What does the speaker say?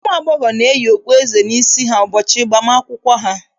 Ụmụ agbọghọ na-eyi okpueze n'isi ụbọchị agbam akwụkwọ ha.